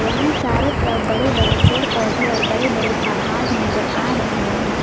यहां चारों तरफ बड़े बड़े पेड़ पौधे और बड़े बड़े पहाड़ नजर आ रहे हैं।